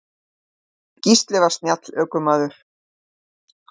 En Gísli var snjall ökumaður.